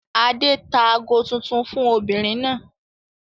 Adé tá ago tuntun fún obìnrin náà.